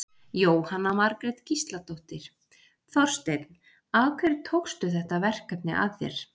Jóhanna Margrét Gísladóttir: Þorsteinn, af hverju tókstu þetta verkefni að þér?